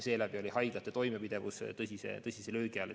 Seetõttu oli haiglate toimepidevus tõsise löögi all.